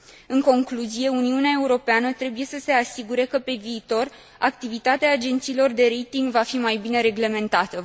În concluzie, Uniunea Europeană trebuie să se asigure că, pe viitor, activitatea agențiilor de rating va fi mai bine reglementată.